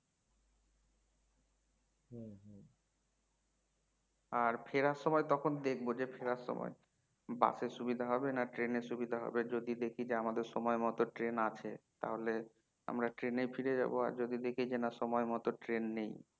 আর ফেরার সময় তখন দেখবো যে ফেরার সময় bus এ সুবিধা হবে না train এ সুবিধা হবে তবে যদি দেখি যে আমাদের সময় মতো train আছে তাহলে আমরা train এই ফিরে যাবো আর যদি দেখি যে সময় মতো train নেই